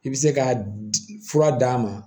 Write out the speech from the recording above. I bɛ se ka fura d'a ma